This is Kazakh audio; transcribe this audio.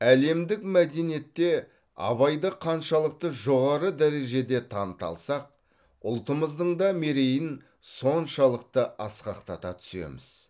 әлемдік мәдениетте абайды қаншалықты жоғары дәрежеде таныта алсақ ұлтымыздың да мерейін соншалықты асқақтата түсеміз